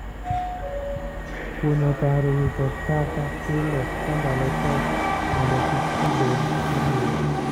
Kunyo kar wito taka pile ka ndalo koth mondo kik pii bed aduwa